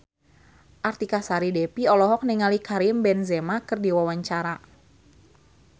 Artika Sari Devi olohok ningali Karim Benzema keur diwawancara